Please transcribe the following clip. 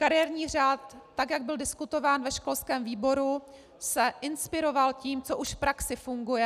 Kariérní řád, tak jak byl diskutován ve školském výboru, se inspiroval tím, co už v praxi funguje.